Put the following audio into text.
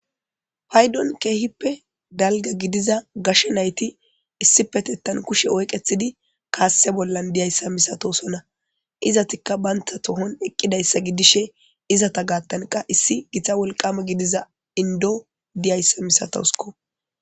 Paydon keehippe dalga gidiza gashe nayti issipetettan kushe oyqetidi kaase bollan diyayssa misatosona izatikka baynta tohon eqqidayssa gidishe izata gaattanqa issi gita wolqama gidiza indo diyayssa misatousko